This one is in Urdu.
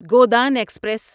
گودان ایکسپریس